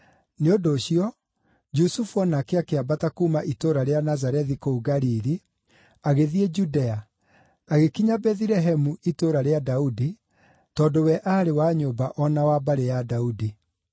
Nĩ ũndũ ũcio Jusufu o nake akĩambata kuuma itũũra rĩa Nazarethi kũu Galili, agĩthiĩ Judea, agĩkinya Bethilehemu itũũra rĩa Daudi, tondũ we aarĩ wa nyũmba o na wa mbarĩ ya Daudi.